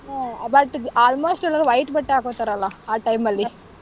Hmm, but almost ಎಲ್ಲಾರು white ಬಟ್ಟೆ ಹಾಕೋತಾರಲ್ಲ ಆ time ಅಲ್ಲಿ.